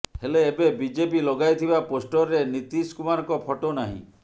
ହେଲେ ଏବେ ବିଜେପି ଲଗାଇଥିବା ପୋଷ୍ଟରରେ ନୀତୀଶ କୁମାରଙ୍କ ଫଟୋ ନାହିଁ